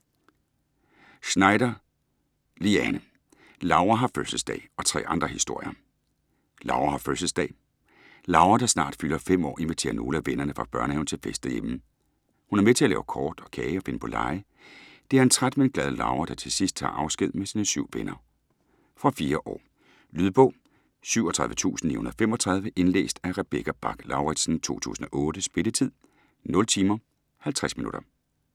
Schneider, Liane: Laura har fødselsdag - og tre andre historier Laura har fødselsdag: Laura, der snart fylder 5 år, inviterer nogle af vennerne fra børnehaven til fest derhjemme. Hun er med til at lave kort og kage og finde på lege. Det er en træt men glad Laura, der til sidst tager afsked med sine syv venner. Fra 4 år. Lydbog 37935 Indlæst af Rebecca Bach-Lauritsen, 2008. Spilletid: 0 timer, 50 minutter.